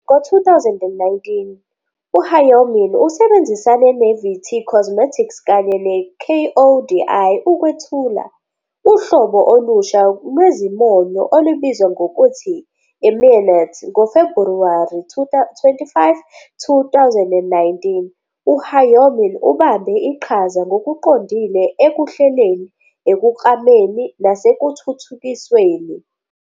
Ngo-2019, u-Hyomin usebenzisane ne-VT Cosmetics kanye ne-KODI ukwethula uhlobo olusha lwezimonyo olubizwa ngokuthi "MINITT" ngoFebhuwari 25, 2019 U-Hyomin ubambe iqhaza ngokuqondile ekuhleleni, ekuklameni nasekuthuthukisweni.